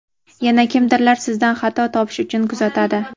yana kimdirlar sizdan xato topish uchun kuzatadi.